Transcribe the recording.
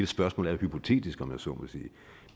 spørgsmålet er hypotetisk om jeg så må sige